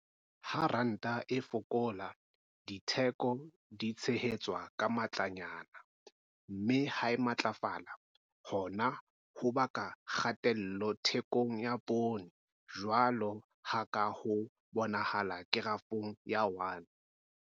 Ha ranta e fokola, ditheko di tshehetswa ka matlanyana, mme ha e matlafala, hona ho baka kgatello thekong ya poone jwalo ka ha ho bonahala Kerafong ya 1.